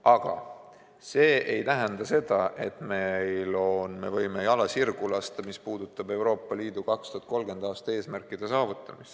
Aga see ei tähenda seda, et me võime jala sirgu lasta, mis puudutab Euroopa Liidu 2030. aasta eesmärkide saavutamist.